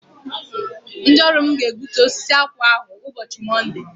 Ndị ọrụ mụ ga- egbútú osisi akwụ ahụ ụbọchị Monde!!!!